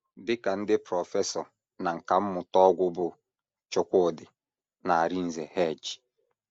Dị ka ndị prọfesọ na nkà mmụta ọgwụ bụ́ Chukwudi na Arinze H.